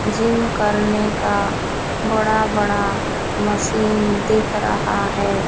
Gym करने का बड़ा बड़ा मशीन दिख रहा है।